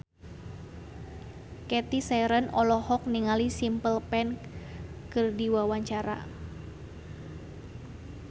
Cathy Sharon olohok ningali Simple Plan keur diwawancara